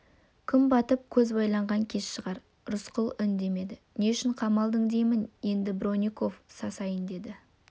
күн батып көз байланған кез шығар рысқұл үндемеді не үшін қамалдың деймін енді бронников сасайын деді